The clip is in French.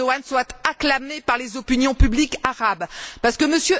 Erdogan soit acclamé par les opinions publiques arabes, parce que M.